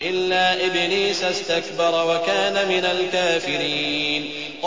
إِلَّا إِبْلِيسَ اسْتَكْبَرَ وَكَانَ مِنَ الْكَافِرِينَ